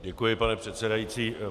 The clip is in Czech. Děkuji, pane předsedající.